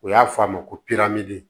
O y'a fɔ a ma ko